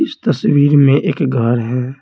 इस तस्वीर में एक घर है।